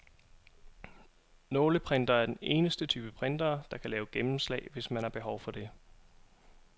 Nåleprintere er den eneste type printere, der kan lave gennemslag, hvis man har behov det.